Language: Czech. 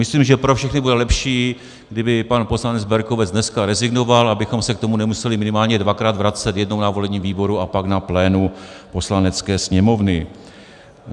Myslím, že pro všechny bude lepší, kdyby pan poslanec Berkovec dneska rezignoval, abychom se k tomu nemuseli minimálně dvakrát vracet - jednou na volebním výboru a pak na plénu Poslanecké sněmovny.